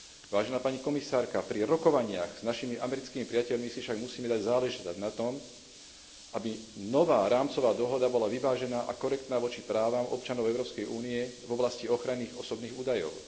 Vážená pani komisárka, pri rokovaniach s našimi americkými priateľmi si však musíme dať záležať na tom, aby nová rámcová dohoda bola vyvážená a korektná voči právam občanov Európskej únie v oblasti ochrany ich osobných údajov.